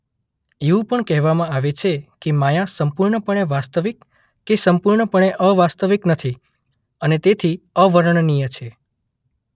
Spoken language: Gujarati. એવું પણ કહેવામાં આવે છે કે માયા સંપૂર્ણપણે વાસ્તવિક કે સંપૂર્ણપણે અવાસ્તવિક નથી અને તેથી અવર્ણનીય છે.